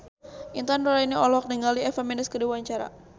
Intan Nuraini olohok ningali Eva Mendes keur diwawancara